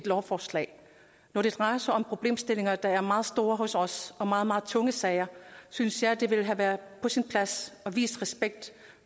lovforslag når det drejer sig om problemstillinger der er meget store hos os og om meget meget tunge sager synes jeg det ville have været på sin plads at vise respekt